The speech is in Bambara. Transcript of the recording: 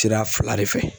Sira fila de fɛ